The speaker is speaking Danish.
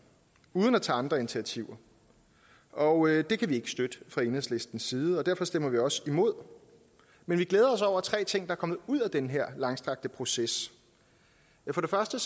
uden at tage andre initiativer og det kan vi ikke støtte fra enhedslistens side og derfor stemmer vi også imod men vi glæder os over tre ting der er kommet ud af den her langstrakte proces for det første